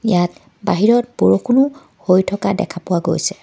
ইয়াত বাহিৰত বৰষুণো হৈ থকা দেখা পোৱা গৈছে।